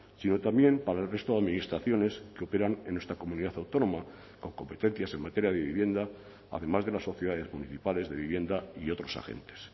sino también para el resto de administraciones que operan en nuestra comunidad autónoma con competencias en materia de vivienda además de las sociedades municipales de vivienda y otros agentes